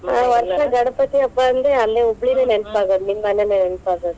ಗಣಪತಿ ಹಬ್ಬಾ ಅಂದ್ರ ಅಲ್ಲೇ, ಹುಬ್ಬಳಿದೆ ನೆನಪಾಗೋದ ನಿಮ್ಮ ಮನೆದೆ ನೆನಪಾಗೋದು.